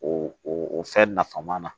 O o o fɛn nafama na